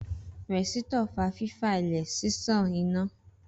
Rẹ̀sítọ̀ fa fífa lẹ̀ ṣíṣan iná